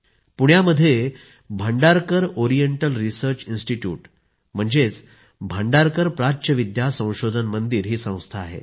पुण्यामध्ये Bhandarkar oriental research institute म्हणजेच भांडारकर प्राच्यविद्या संशोधन मंदिर ही संस्था आहे